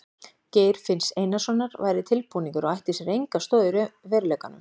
Geir finns Einarssonar væri tilbúningur og ætti sér enga stoð í veruleikanum.